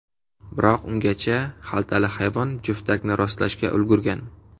Biroq ungacha xaltali hayvon juftakni rostlashga ulgurgan.